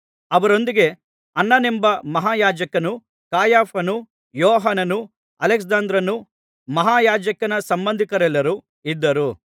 ಅವರೊಂದಿಗೆ ಅನ್ನನೆಂಬ ಮಹಾಯಾಜಕನೂ ಕಾಯಫನೂ ಯೋಹಾನನೂ ಅಲೆಕ್ಸಾಂದ್ರನೂ ಮಹಾಯಾಜಕನ ಸಂಬಂಧಿಕರೆಲ್ಲರೂ ಇದ್ದರು